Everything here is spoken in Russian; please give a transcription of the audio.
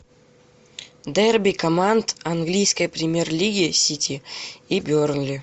дерби команд английской премьер лиги сити и бернли